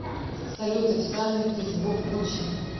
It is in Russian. салют официальный фейсбук гуччи